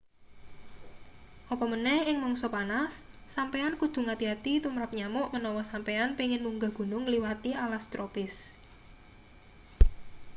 apa maneh ing mangsa panas sampeyan kudu ngati-ati tumrap nyamuk menawa sampeyan pengin munggah gunung ngliwati alas tropis